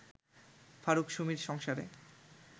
ফারুক-সুমির সংসারে